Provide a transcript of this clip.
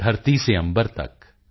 ਧਰਤੀ ਸੇ ਅੰਬਰ ਤਕ